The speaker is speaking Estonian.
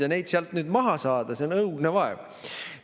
Ja neid sealt nüüd maha saada on õudne vaev.